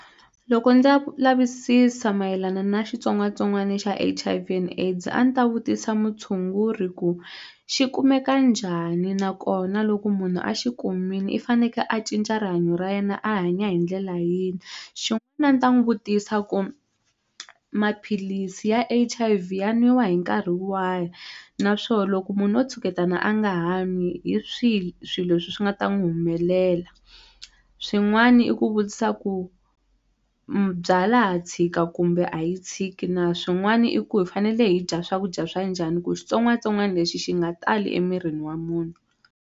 Loko ndza ku lavisisa mayelana na xitsongwatsongwani xa H_I_V and AIDS a ni ta vutisa mutshunguri ku xi kumeka njhani nakona loko munhu a xi kumile i faneke a cinca rihanyo ra yena a hanya hi ndlela yini a ni ta n'wi vutisa ku maphilisi ya H_I_V ya nwiwa hi nkarhi wahi naswo loko munhu o tshuketana a nga ha n'wi hi swihi swilo swi swi nga ta n'wi humelela swin'wani i ku vutisa ku byalwa ha tshika kumbe a yi tshiki na swin'wani i ku hi fanele hi dya swakudya swa njhani ku xitsongwatsongwana lexi xi nga tali emirini wa munhu.